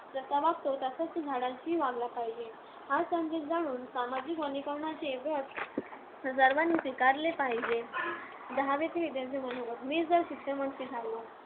जसा तसाच तो झाडांशीही वागला पाहिजे. हा संदेश जाणून सामाजिक वनीकरणाचे व्रत सर्वांनी स्वीकारले पाहिजे.